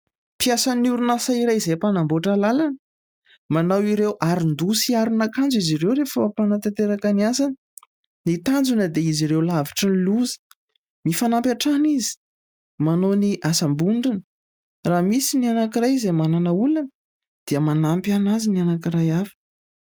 Mpiasan'ny orinasa iray izay mpanamboatra lalana. Manao ireo aron-doa sy aron'ankanjo izy ireo rehefa eo ampanatanterahana ny asany. Ny tanjona dia izy ireo lavitrin'ny loza, mifanampy hatrana izy manao ny asam-bondrona. Raha misy ny anankiray izay manana olona dia manampy azy ny anankiray hafa.